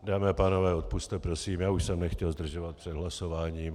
Dámy a pánové, odpusťte prosím, já už jsem nechtěl zdržovat před hlasováním.